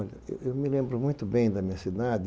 Olha, eu eu me lembro muito bem da minha cidade.